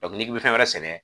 n'i bɛ fɛn wɛrɛ sɛnɛ